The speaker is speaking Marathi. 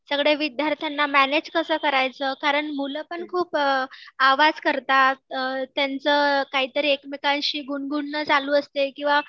सगळ्या विद्यार्थ्यांना मॅनेज कसं करायचं? कारण मुलं पण खूप आवाज करतात अ त्यांचं काहीतरी एकमेकांशी गुणगुणणं चालू असते किंवा